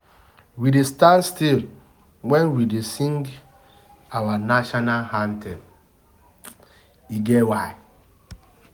We dey stand still wen we dey sing our national anthem, e get why.